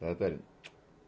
татарин